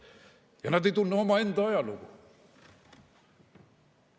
Ja nad ei tunne omaenda ajalugu.